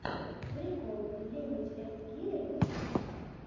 прикол ленич энд киря ютуб